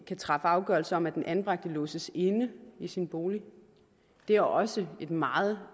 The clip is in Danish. kan træffe afgørelser om at den anbragte låses inde i sin bolig det er også et meget